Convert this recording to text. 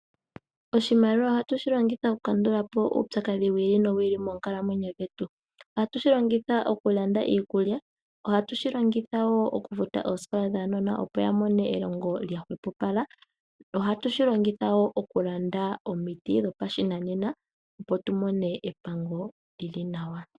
Oshimaliwa ohatushi longitha oku kandulapo uupyakadhi wi ili nowi ili monkalamwenyo dhetu. Ohatu shi longitha oku landa iikulya. Ohatu shi longitha wo oku futa oosikola dhaanona opo ya mone elongo lya hwepopala. Otushi longitha wo oku landa omiti dhopashinanena opo tu mone epango lyili nawa.